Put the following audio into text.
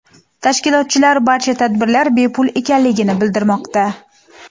Tashkilotchilar barcha tadbirlar bepul ekanligini bildirmoqda.